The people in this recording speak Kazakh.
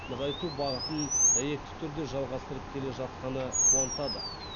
нығайту бағытын дәйекті түрде жалғастырып келе жатқаны қуантады